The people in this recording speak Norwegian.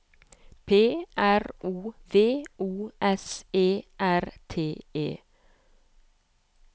P R O V O S E R T E